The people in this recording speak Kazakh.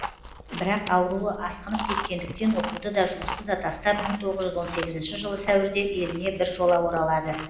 бірақ ауруы асқынып кеткендіктен оқуды да жұмысты да тастап мың тоғыз жүз он сегізінші жылы сәуірде еліне біржола оралады